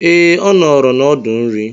Ee, ọ nọọrọ n'ọdụ nri.